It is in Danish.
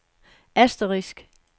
asterisk